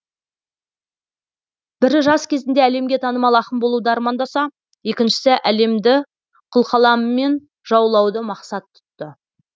бірі жас кезінде әлемге танымал ақын болуды армандаса екіншісі әлемді қылқаламымен жаулауды мақсат тұтты